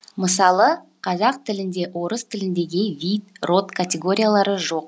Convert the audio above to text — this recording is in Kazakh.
мысалы қазақ тілінде орыс тіліндегідей вид род категориялары жоқ